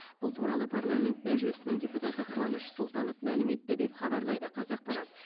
бұл туралы парламент мәжілісінің депутаты қуаныш сұлтанов мәлім етті деп хабарлайды қазақпарат